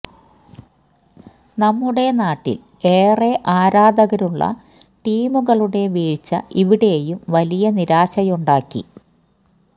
നമ്മുടെ നാട്ടിൽ ഏറെ ആരാധകരുള്ള ടീമുകളുടെ വീഴ്ച ഇവിടെയും വലിയ നിരാശയുണ്ടാക്കി